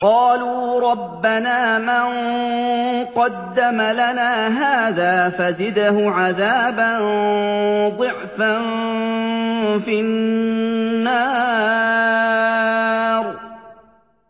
قَالُوا رَبَّنَا مَن قَدَّمَ لَنَا هَٰذَا فَزِدْهُ عَذَابًا ضِعْفًا فِي النَّارِ